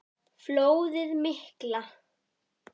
Flóðið mikla